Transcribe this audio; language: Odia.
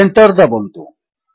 ଏଣ୍ଟର୍ ଦାବନ୍ତୁ